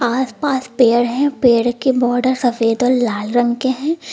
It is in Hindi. आसपास पेड़ हैं पेड़ के बॉर्डर सफेद और लाल रंग के हैं।